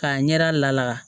K'a ɲɛda la